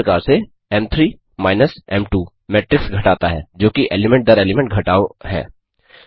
उसी प्रकार से एम3 माइनस एम2 मेट्रिक्स घटाता है जोकि एलीमेंट दर एलीमेंट घटाव है